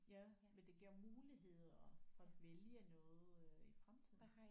Ja men det giver muligheder for at vælge noget øh i fremtiden